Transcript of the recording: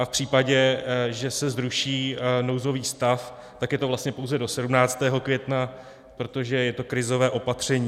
A v případě, že se zruší nouzový stav, tak je to vlastně pouze do 17. května, protože je to krizové opatření.